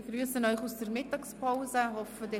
Ich begrüsse Sie nach der Mittagspause hier im Saal.